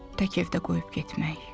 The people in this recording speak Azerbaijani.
Tək evdə qoyub getmək.